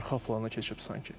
Arxa plana keçib sanki.